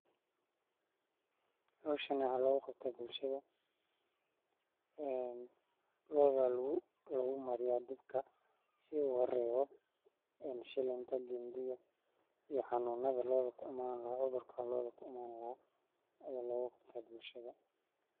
Hawshan waxaa loo qabta bulshade. Ee, looda lagu, lagu maryaa dibka si ugu reebo en shiilinta gindiga iyo xanuunada loo doq ummaan la odurka loo doq ummaan la ayaa loogu qabtay bulshade.